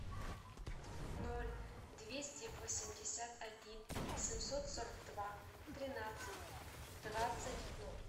ноль двести восемьдесят один семьсот сорок два тринадцать двадцать ноль